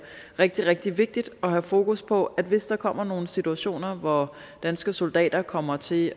rigtig rigtig vigtigt at have fokus på at hvis der kommer nogle situationer hvor danske soldater kommer til